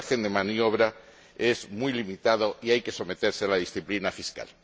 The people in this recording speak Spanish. El margen de maniobra es muy limitado y hay que someterse a la disciplina fiscal.